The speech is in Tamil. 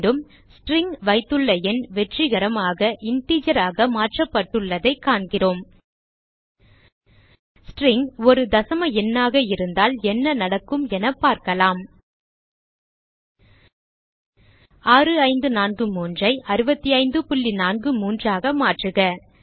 மீண்டும் ஸ்ட்ரிங் வைத்துள்ள எண் வெற்றிகரமாக integer ஆக மாற்றப்பட்டுள்ளதைக் காண்கிறோம் ஸ்ட்ரிங் ஒரு தசம எண்ணாக இருந்தால் என்ன நடக்கும் என பார்க்கலாம் 6543 ஐ 6543 ஆக மாற்றுக